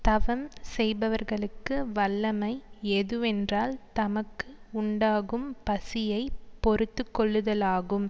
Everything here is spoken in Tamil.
தவம் செய்பவர்களுக்கு வல்லமை எதுவென்றால் தமக்கு உண்டாகும் பசியை பொறுத்து கொள்ளுதலாகும்